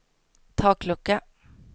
taklucka